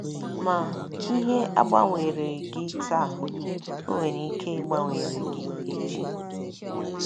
Ma, ihe agbanwereghị gị taa, o nwere ike ịgbanwere gị echi.